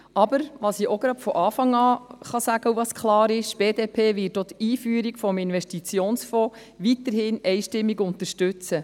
Aber, was ich auch von Anfang sagen kann und was klar ist: Die BDP wird auch die Einführung des Investitionsfonds weiterhin einstimmig unterstützen.